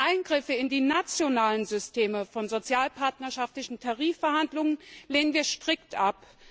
Eingriffe in die nationalen Systeme von sozialpartnerschaftlichen Tarifverhandlungen lehnen wir strikt ab.